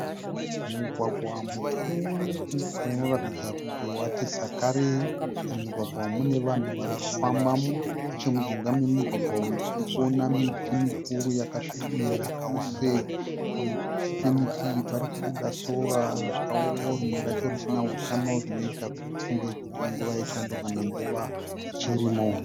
Mugwagwa mukuru unoratidza kuti wati sakarei. Mumugwagwa umu mune vanhu varikufambamo. Nechemujinga memugwagwa uyu tirikuona miti mikuru yakasvibira chose. Pazasi pemiti iyi parikubuda sora rakaoma rimwe racho risina hutano zvinoita kuti tifunge kuti inguva yechando kana nguva yechirimo.